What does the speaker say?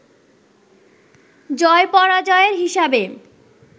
জয়-পরাজয়ের হিসাবে